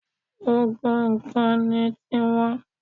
Gbogbo nǹkan ni tiwọn